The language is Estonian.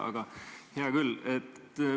Aga hea küll.